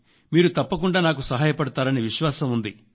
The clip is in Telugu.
మీరు తప్పకుండా నాకు సహాయపడతారని విశ్వాసం ఉంది